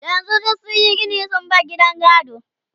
yanzun duk sunyi Gini sun bar gidan gado